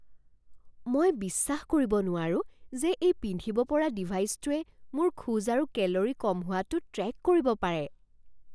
মই বিশ্বাস কৰিব নোৱাৰো যে এই পিন্ধিব পৰা ডিভাইছটোৱে মোৰ খোজ আৰু কেলৰি কম হোৱাটো ট্ৰেক কৰিব পাৰে।